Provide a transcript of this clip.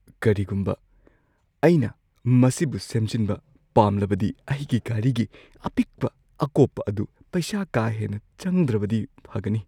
ꯀꯔꯤꯒꯨꯝꯕ ꯑꯩꯅ ꯃꯁꯤꯕꯨ ꯁꯦꯝꯖꯤꯟꯕ ꯄꯥꯝꯂꯕꯗꯤ ꯑꯩꯒꯤ ꯒꯥꯔꯤꯒꯤ ꯑꯄꯤꯛꯄ ꯑꯀꯣꯞꯄ ꯑꯗꯨ ꯄꯩꯁꯥ ꯀꯥ ꯍꯦꯟꯅ ꯆꯪꯗ꯭ꯔꯕꯗꯤ ꯐꯒꯅꯤ꯫